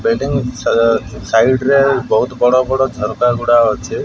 Bedding ସଜା side ରେ ବହୁତ ବଡ ବଡ ଝରକା ଗୁଡା ଅଛି।